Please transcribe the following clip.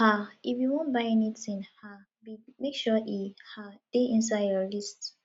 um if you wan buy anytin um big make sure e um dey inside your list